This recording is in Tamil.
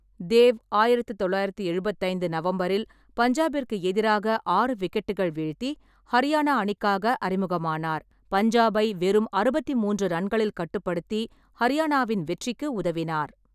தேவ் ஆயிரத்து தொள்ளாயிரத்தி எழுபத்தி ஐந்து நவம்பரில் பஞ்சாப்பிற்கு எதிராக ஆறு விக்கெட்டுக்கள் வீழ்த்தி ஹரியானா அணிக்காக அறிமுகமானார், பஞ்சாபை வெறும் அறுபத்தி மூன்று ரன்களில் கட்டுப்படுத்தி ஹரியானாவின் வெற்றிக்கு உதவினார்.